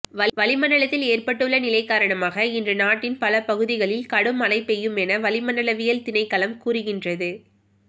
வளிமண்டலத்தில் ஏற்பட்டுள்ள நிலை காரணமாக இன்று நாட்டின் பல பகுதிகளில் கடும் மழை பெய்யுமென வளிமண்டலவியல் திணைக்களம் கூறுகின்றது